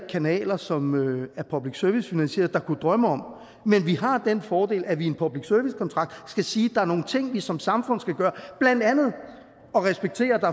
kanaler som er public service finansieret der kunne drømme om men vi har den fordel at man i en public service kontrakt skal sige at der er nogle ting vi som samfund skal gøre blandt andet at respektere at der